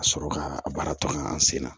Ka sɔrɔ ka a baara tɔ kɛ an sen na